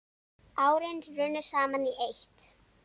Árin runnu saman í eitt.